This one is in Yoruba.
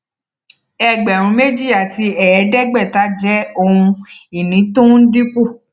ẹgbẹrún méjì àti ẹẹdẹgbẹta jẹ ohun ìní tó ń dínkù